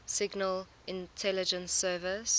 signal intelligence service